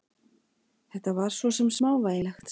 Þetta var svo sem smávægilegt.